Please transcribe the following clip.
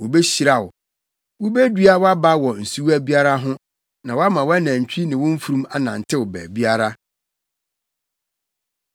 wobehyira wo, wubedua wʼaba wɔ nsuwa biara ho, na wama wʼanantwi ne wo mfurum anantew baabiara.